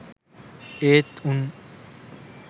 ඒත් උන්.